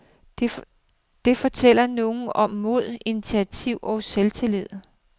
Det fortæller noget om mod, initiativ og selvtillid.